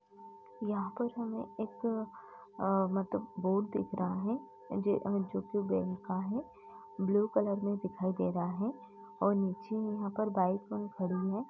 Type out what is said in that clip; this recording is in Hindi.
यहाँं पर हमें एक अ मतलब बोर्ड दिख रहा है ज जो के बैंक का है ब्लू कलर में दिखाई दे रहा है और नीचे यहाँं पर बाइक ऑन खड़ी है।